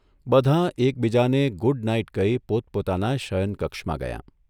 બધાં એકબીજાને ' good night ' કહી પોતપોતાનાં શયનકક્ષમાં ગયાં.